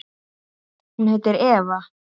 Hún heitir Eva.